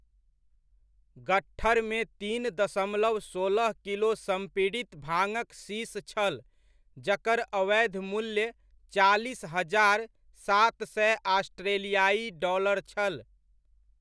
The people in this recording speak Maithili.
गट्ठरमे तीन दशमलव सोलह किलो संपीडित भाङक शीश छल जकर अवैध मूल्य चालीस हजार, सात सए ऑस्ट्रेलियाइ डॉलर छल।